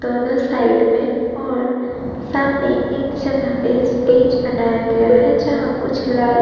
दोनों साइड में और सामने एक जगह पे स्टेज बनाया गया है। जहां कुछ लाइट --